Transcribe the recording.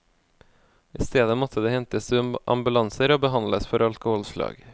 I stedet måtte de hentes i ambulanser og behandles for alkoholslag.